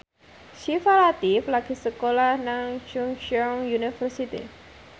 Syifa Latief lagi sekolah nang Chungceong University